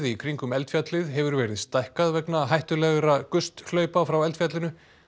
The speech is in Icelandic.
í kringum eldfjallið hefur verið stækkað vegna hættulegra hlaupa frá eldfjallinu